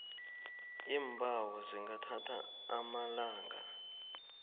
iimbawo zingathatha amalanga